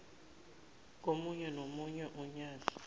komunye nomunye unyaka